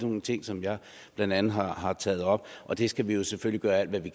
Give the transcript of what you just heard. nogle ting som jeg blandt andet har har taget op og det skal vi jo selvfølgelig gøre alt hvad vi